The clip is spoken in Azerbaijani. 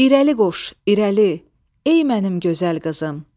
İrəli qoş, irəli, ey mənim gözəl qızım.